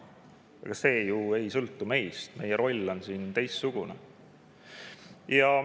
Aga see ju ei sõltu meist, meie roll on siin teistsugune.